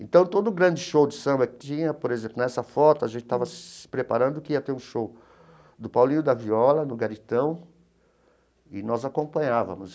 Então, todo grande show de samba que tinha, por exemplo, nessa foto, a gente estava se preparando que ia ter um show do Paulinho e da Viola, no Garitão, e nós acompanhávamos.